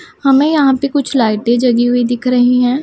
हमें यहां पे कुछ लाइटें जगी हुई दिख रही हैं।